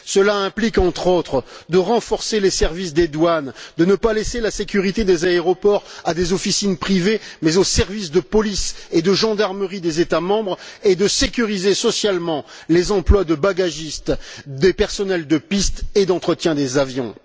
Cela implique, entre autres, de renforcer les services des douanes, de ne pas confier la sécurité des aéroports à des officines privées, mais bien à des services de police et de gendarmerie des États membres, et de sécuriser socialement les emplois des bagagistes et des personnels de piste et d'entretien des avions.